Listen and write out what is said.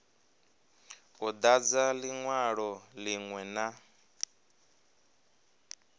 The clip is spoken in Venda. u dadza linwalo linwe na